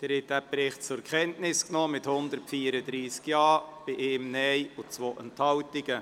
Sie haben den Bericht zur Kenntnis genommen mit 134 Ja- zu 1 Nein-Stimme bei 2 Enthaltungen.